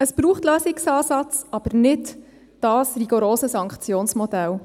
Es braucht Lösungsansätze, aber nicht dieses rigorose Sanktionsmodell.